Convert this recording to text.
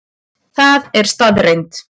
Það er staðreynd